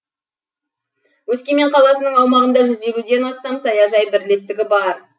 өскемен қаласының аумағында жүз елуден астам саяжай бірлестігі бар